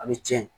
Ani cɛ